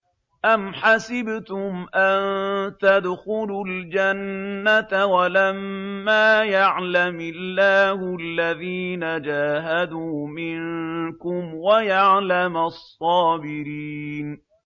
أَمْ حَسِبْتُمْ أَن تَدْخُلُوا الْجَنَّةَ وَلَمَّا يَعْلَمِ اللَّهُ الَّذِينَ جَاهَدُوا مِنكُمْ وَيَعْلَمَ الصَّابِرِينَ